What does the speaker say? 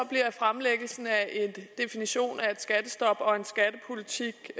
fremlæggelsen af en definition af et skattestop og en skattepolitik